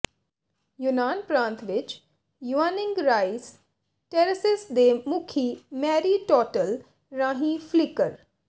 ਯੂਨਾਨ ਪ੍ਰਾਂਤ ਵਿਚ Yuanyang rice terraces ਦੇ ਮੁਖੀ ਮੈਰੀ ਟੌਟਲ ਰਾਹੀਂ ਫਲੀਕਰ